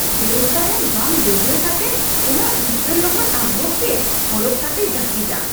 ᱫᱟᱹᱲ ᱛᱟᱭᱚᱢ ᱵᱟᱝ ᱰᱟᱹᱵᱨᱟᱹ ᱠᱟᱛᱮᱫ ᱚᱱᱟ ᱩᱫᱜᱟᱹᱨ ᱞᱚᱦᱚᱫ ᱟᱜᱨᱚᱯ ᱜᱮ ᱦᱚᱨᱚᱜ ᱠᱟᱛᱮᱭ ᱡᱟᱹᱯᱤᱫᱼᱟ ᱾